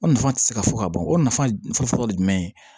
O nafa tɛ se ka fɔ ka ban o nafa fɔlɔ ye jumɛn ye